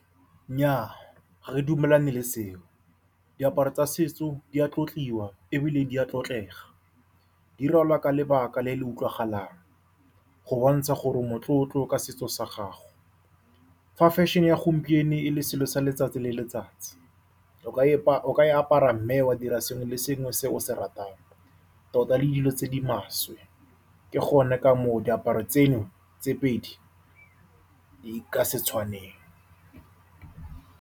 Nnyaa, ga re dumelane le seo, diaparo tsa setso di a tlotliwa ebile di a tlotlega. Di rwalwa ka lebaka le le utlwagalang go bontsha gore o motlotlo ka setso sa gago. Fa fashion-e ya gompieno e le selo sa letsatsi le letsatsi o ka e apara mme wa dira sengwe le sengwe se o se ratang, tota le dilo tse di maswe. Ke gone ka moo diaparo tseno tse pedi di ka se tshwaneng.